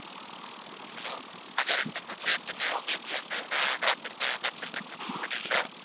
hello அது ரெண்டுக்கும் சேர்த்துமே உங்களுக்கு வந்து நான் doctor consultancy book பண்ணிறட்டா